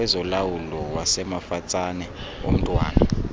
kwezolawulo wasemafatsane omntwana